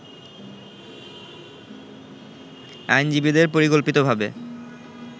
আইনজীবীদের পরিকল্পিতভাবে